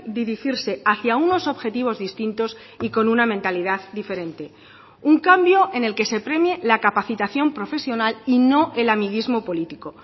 dirigirse hacia unos objetivos distintos y con una mentalidad diferente un cambio en el que se premie la capacitación profesional y no el amiguismo político